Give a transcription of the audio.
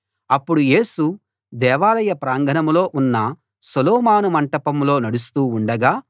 అప్పుడు యేసు దేవాలయ ప్రాంగణంలో ఉన్న సొలొమోను మంటపంలో నడుస్తూ ఉండగా